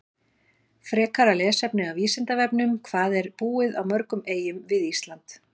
Frekara lesefni á Vísindavefnum: Hvað er búið á mörgum eyjum við Ísland?